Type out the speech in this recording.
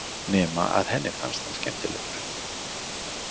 Nema að henni fannst hann skemmtilegur.